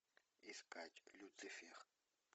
искать люцифер